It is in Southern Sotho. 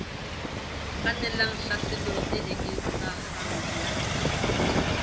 kgannelang tlhaselong e eketsehang ya